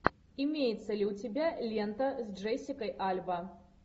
имеется ли у тебя лента с джессикой альба